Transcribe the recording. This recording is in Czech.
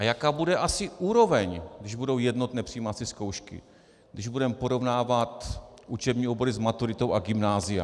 A jaká bude asi úroveň, když budou jednotné přijímací zkoušky, když budeme porovnávat učební obory s maturitou a gymnázia?